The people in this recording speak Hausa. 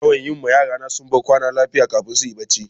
Ina yawan yi ma yara na sumban kwana lafiya kafin su yi barci.